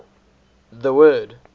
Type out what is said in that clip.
the word